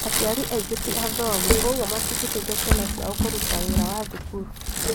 Aciari angĩ ti athomu ũguo matingiteithia ciana ciao kũruta wĩra wa cukuru